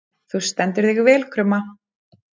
Þú stendur þig vel, Krumma!